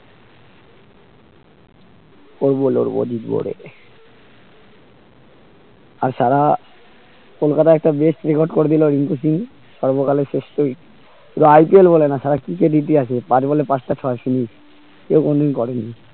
করবো লড়বো জিতবো রে তাছাড়া কলকাতার একটা best record করে দিলো রিংকু সিং সর্বকালের শ্রেষ্ট শুধু IPL বলে না সারা cricket ইতিহাসে পাঁচ ball এ পাঁচটা ছয় সেদিন কেও কোনোদিন করেনি